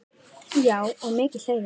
Já og mikið hlegið.